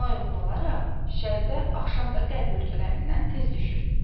Buna uyğun olaraq şərqdə axşam da qərb ölkələrindən tez düşür.